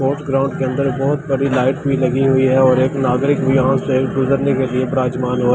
के अंदर बहुत बड़ी लाइट भी लगी हुई है और एक नागरिक भी यहां से गुजरनी है बिराजमान है--